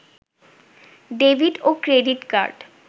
debit ও credit card